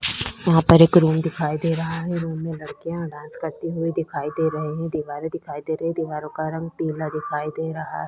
यहाँ पर एक रूम दिखाई दे रहा है| रूम में लड़कियां डांस करती हुई दिखाई दे रही है| दीवारे दिखाई दे रही है| दीवारों का रंग पीला दिखाई दे रहा--